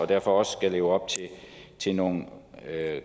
derfor også skal leve op til nogle